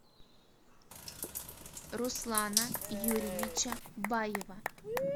руслана юрьевича баева